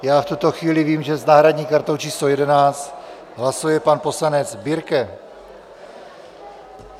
Já v tuto chvíli vím, že s náhradní kartou číslo 11 hlasuje pan poslanec Birke.